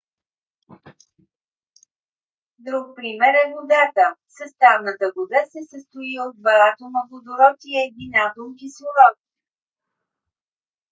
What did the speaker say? друг пример е водата. съставната вода се състои от два атома водород и един атом кислород